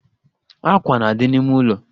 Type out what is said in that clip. Àkwà na-adị n'ime ụlọ